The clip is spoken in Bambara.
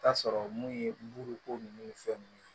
Taa sɔrɔ mun ye buruko ninnu ni fɛn nunnu ye